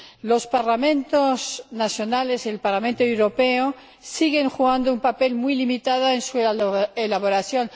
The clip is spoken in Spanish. Los Parlamentos nacionales y el Parlamento Europeo siguen jugando un papel muy limitado en su elaboración.